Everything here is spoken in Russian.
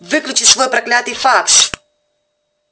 выключи свой проклятый факс